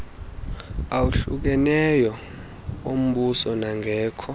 awahlukeneyo ombuso nangekho